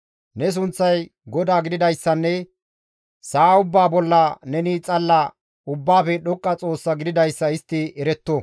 Ne sunththay GODAA gididayssanne sa7a ubbaa bolla neni xalla Ubbaafe Dhoqqa Xoossa gididayssa istti eretto.